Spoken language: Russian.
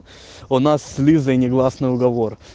у нас с лизой негласный уговор